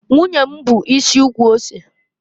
Nwunye m bu isi ukwu ose.